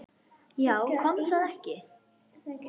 Já, kom það ekki!